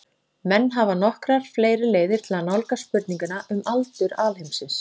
Menn hafa nokkrar fleiri leiðir til að nálgast spurninguna um aldur alheimsins.